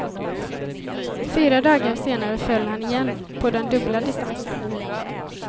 Fyra dagar senare föll han igen, på den dubbla distansen.